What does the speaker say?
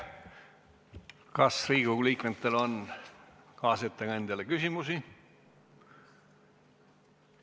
Kas Riigikogu liikmetel on kaasettekandjale küsimusi?